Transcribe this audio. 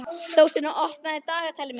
Þórsteina, opnaðu dagatalið mitt.